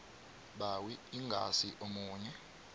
mbawi ingasi omunye